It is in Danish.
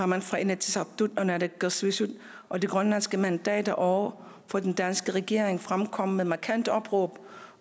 man fra inatsisartut og naalakkersuisut og de grønlandske mandater over for den danske regering fremkommet med markante opråb